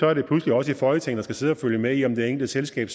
er det pludselig os i folketinget der skal sidde og følge med i om det enkelte selskab